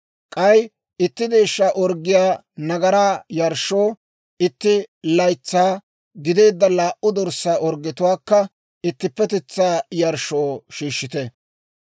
K'ay itti deeshshaa orggiyaa nagaraa yarshshoo, itti laytsaa gideedda laa"u dorssaa orggetuwaakka ittippetetsaa yarshshoo shiishshite.